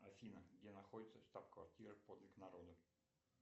афина где находится штаб квартира подвиг народа